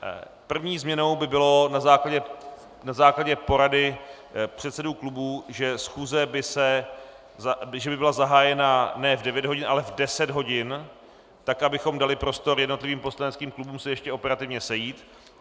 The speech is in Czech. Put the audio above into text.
První změnou by bylo na základě porady předsedů klubů, že schůze by byla zahájena ne v 9 hodin, ale v 10 hodin, tak abychom dali prostor jednotlivým poslaneckým klubům se ještě operativně sejít.